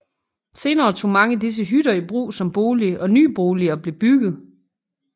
Senere tog mange disse hytter i brug som bolig og nye boliger blev bygget